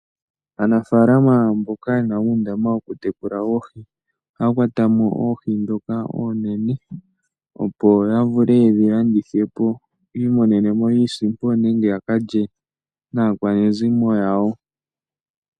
Aanafalama mboka yena uundama woku tekula oohi ohaya kwatamo oohi ndhoka oonene opo ya vule yedhi landithe po yi imonene mo iisimpo nenge yaka lye naakwanezimo yawo.